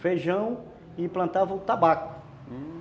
Feijão e plantava o tabaco.